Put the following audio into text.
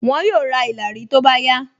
Wọn yóò ra ìlàrí tó bá yá